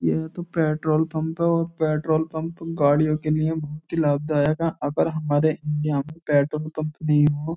ये तो petrol pump है और पेट्रोल पंप गाड़ियों के लिए बहुत ही लाभदायक है अगर हमारे इंडिया में पेट्रोल पंप नहीं हो --